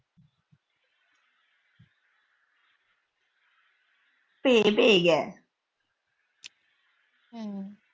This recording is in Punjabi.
ਹੂੰ।